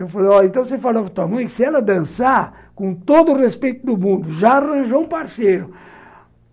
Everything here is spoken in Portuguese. Eu falei, então você falou para tua mãe que se ela dançar com todo o respeito do mundo, já arranjou um parceiro.